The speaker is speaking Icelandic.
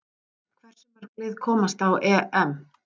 Hversu mörg lið komast á EM?